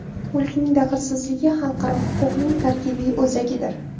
Mulkning daxlsizligi xalqaro huquqning tarkibiy o‘zagidir.